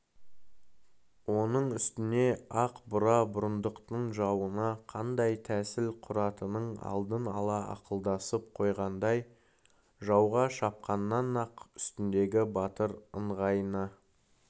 оның үстіне ақ бура бұрындықтың жауына қандай тәсіл құратынын алдын ала ақылдасып қойғандай жауға шапқаннан-ақ үстіндегі батыр ыңғайына